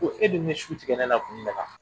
Ko e bɛ su tigɛ ne na kun jumɛn na